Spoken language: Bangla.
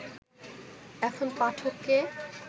এখন পাঠককে